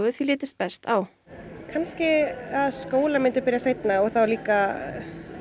því litist best á kannski að skólar myndu byrja seinna og þá líka